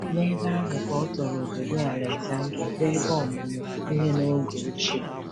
N’ebe ahụ ka ọ tọrọ obodo Alexandria, bụ́ ebe ọmụmụ ihe n’oge ochie.